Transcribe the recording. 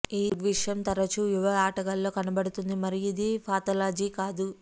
ఈ దృగ్విషయం తరచూ యువ ఆటగాళ్ళలో కనబడుతుంది మరియు ఇది పాథాలజీ కాదు